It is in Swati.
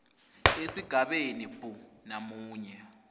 esigabeni b namunye